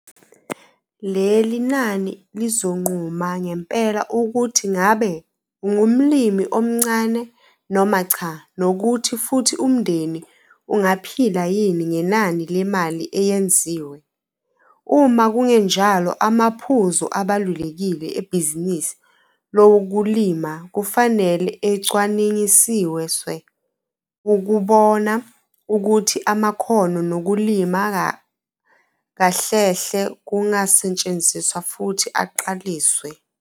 Leli nani lizonquma ngempela ukuthi ngabe 'ungumlimi omncane' noma cha nokuthi futhi umndeni ungaphila yini ngenani lemali eyenziwe. Uma kungenjalo, amaphuzu abalulekile ebhizinisi lokulima kufanele ecwaningisiswe ukubona ukuthi ama-khono nokulima kahlehle kungasetshenziswa futhi aqaliswe.